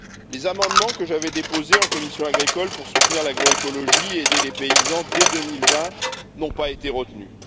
Les amendements que j'avais déposés en commission de l'agriculture pour soutenir l'agroécologie et aider les paysans dès 2020 n'ont pas été retenus.